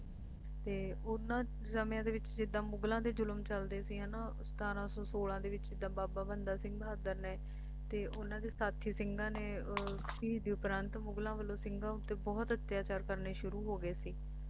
ਤੇ ਉਨ੍ਹਾਂ ਸਮੇਂ ਦੇ ਵਿੱਚ ਜਿੱਦਾਂ ਮੁਗਲਾਂ ਦੇ ਜ਼ੁਲਮ ਚੱਲਦੇ ਸੀ ਹੈਂ ਨਾ ਸਤਾਰਾਂ ਸੌਂ ਸੋਲਾਂ ਦੇ ਵਿਚ ਜਿੱਦਾਂ ਬਾਬਾ ਬੰਦਾ ਸਿੰਘ ਬਹਾਦਰ ਨੇ ਤੇ ਉਨ੍ਹਾਂ ਦੇ ਸਾਥੀ ਸਿੰਘਾਂ ਨੇ ਅਹ ਸ਼ਹੀਦੀ ਉਪਰਾਂਤ ਮੁਗਲਾਂ ਵੱਲੋਂ ਸਿੰਘਾਂ ਉੱਪਰ ਬਹੁਤ ਅਤਿਆਚਾਰ ਕਰਨੇ ਸ਼ੁਰੂ ਹੋ ਗਏ ਸੀ